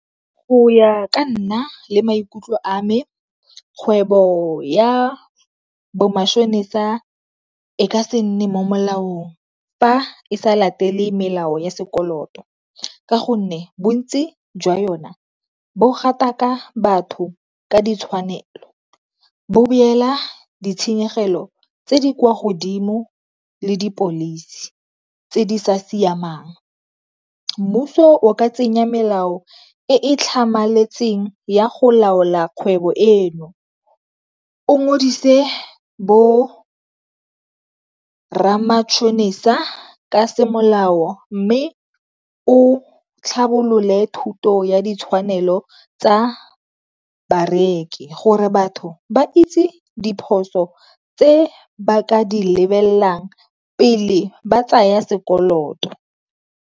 Go ya ka nna le maikutlo a me kgwebo ya bo matšhonisa e ka se nne mo molaong fa e sa latele melao ya sekoloto, ka gonne bontsi jwa yona bo gataka batho ka ditshwanelo, bo beela ditshenyegelo tse di kwa godimo le di-policy tse di sa siamang. Mmuso o ka tsenya melao e tlhamaletseng ya go laola kgwebo eno o ngodise bo rra matšhonisa ka semolao mme o tlhabolole thuto ya ditshwanelo tsa bareki gore batho ba itse diphoso tse ba ka di lebelelang pele ba tsaya sekoloto.